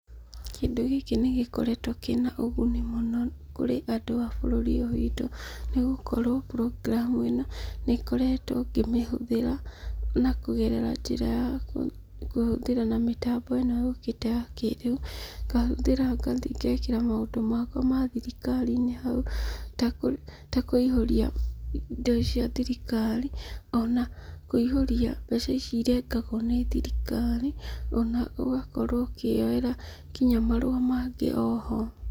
Kĩndũ gĩkĩ nĩ gĩkoretwo kĩna ũguni mũno kũrĩ andũ a bũrũri ũyũ witũ, nĩgũkorwo program ĩno, nĩ ngoretwo ngĩmĩhũthĩra, na kũgerera njĩra ya kũhũthĩra na mĩtambo ĩno yũkĩte ya kĩrĩu, ngahũthĩra ngathi ngekĩra maũndũ makwa ma thirikari-inĩ hau, ta ta kũihũria indo cia thirikari. Ona kũihũria mbeca ici irengagwo nĩ thirikari, ona ũgakorwo ũkĩoera nginya marũa mangĩ oho.